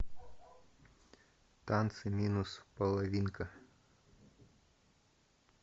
танцы минус половинка